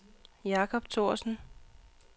Jacob Thorsen